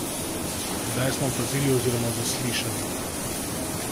Kaj smo opazili oziroma zaslišali?